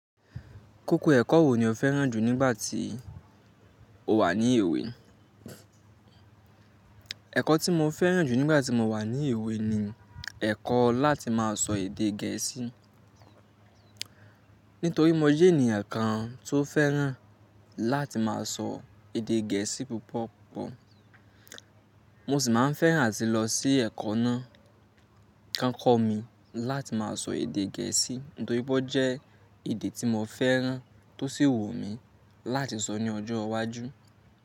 Kókó ẹ̀kọ́ wò ni o fẹ́ràn jù nígbà tí o wà ní èwe? Ẹ̀kọ́ tí mo fẹ́ràn jù nígbà tí mo wà ní èwe ni ẹ̀kọ́ láti má a sọ èdè gẹ̀ẹ́sì. Nítorí mo jẹ́ ènìyàn kan tó fẹ́ràn láti má a sọ èdè gẹ̀ẹ́sì púpọ̀ púpọ̀. Mo sì má a fẹ́ràn áti lọ sí ẹ̀kọ́ náà, kán kọ́ mi láti má a sọ èdè gẹ̀ẹ́sì. Nítorí pọ́ jẹ́ èdè tí mo fẹ́ràn, tó sì wù mí láti sọ ní ọjọ́ iwájú.